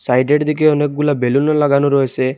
Side দিকে অনেকগুলা বেলুনও লাগানো রয়েছে।